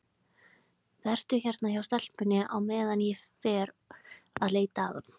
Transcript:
Vertu hérna hjá stelpunni á meðan ég fer að leita að honum.